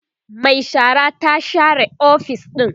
Mai shara ta share ofis ɗin